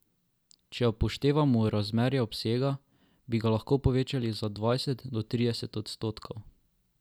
Če upoštevamo razmerja obsega, bi ga lahko povečali za dvajset do trideset odstotkov.